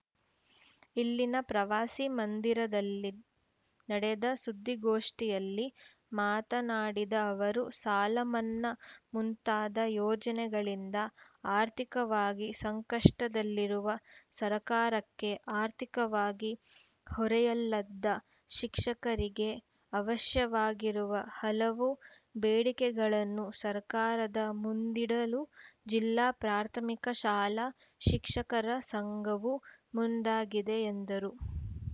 ಇಲ್ಲಿನ ಪ್ರವಾಸಿ ಮಂದಿರದಲ್ಲಿ ನಡೆದ ಸುದ್ದಿಗೋಷ್ಠಿಯಲ್ಲಿ ಮಾತನಾಡಿದ ಅವರು ಸಾಲಮನ್ನಾ ಮುಂತಾದ ಯೋಜನೆಗಳಿಂದ ಆರ್ಥಿಕವಾಗಿ ಸಂಕಷ್ಟದಲ್ಲಿರುವ ಸರಕಾರಕ್ಕೆ ಆರ್ಥಿಕವಾಗಿ ಹೊರೆಯಲ್ಲದ ಶಿಕ್ಷಕರಿಗೆ ಅವಶ್ಯವಾಗಿರುವ ಹಲವು ಬೇಡಿಕೆಗಳನ್ನು ಸರಕಾರದ ಮುಂದಿಡಲು ಜಿಲ್ಲಾ ಪ್ರಾಥಮಿಕ ಶಾಲಾ ಶಿಕ್ಷಕರ ಸಂಘವು ಮುಂದಾಗಿದೆ ಎಂದರು